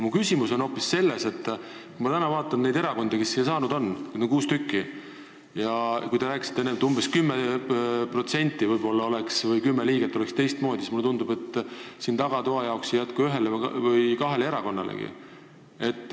Mu küsimus on hoopis selles, et kui ma täna vaatan neid erakondi, kes siia saanud on – neid on kuus tükki –, ja kui te rääkisite enne, et umbes 10% või 10 liiget oleks teistmoodi, siis mulle tundub, et tagatoa jaoks ei jätku siin kohti ühele ega kahele erakonnalegi.